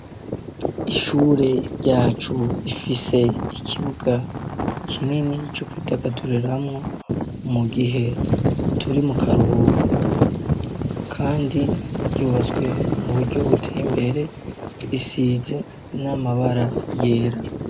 Ishure ryacu rifise ikibuga kinini co kwidagaduriramwo mu gihe turi mu karuhuko, kandi ryubatswe mu buryo buteye imbere, risize n'amabara yera.